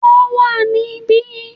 Wọ́n wà níbí